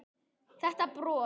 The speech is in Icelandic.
Þetta bros!